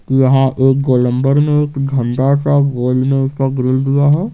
यहां एक गोलम्बर में एक झंडा सा गोल में इसका ग्रिल दिया है।